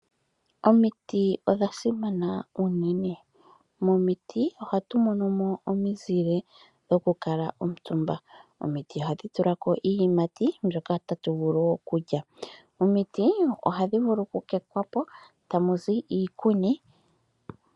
Omiti odha simana uunene, momiti ohatu monomo omizile dhokukala omutumba. Omiti ohadhi tulako iiyimati mbyoka hatu vulu okulya. Omiti ohadhi vulu okukekwapo eeta muzi iikuni.